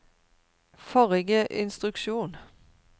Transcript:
forrige instruksjon